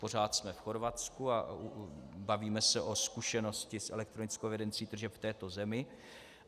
Pořád jsme v Chorvatsku a bavíme se o zkušenosti s elektronickou evidencí tržeb v této zemi.